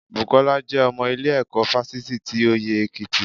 Bùkọ́lá jẹ́ ọmọ ilé ẹ̀kọ́ fásitì ti ọyẹ́ èkìtì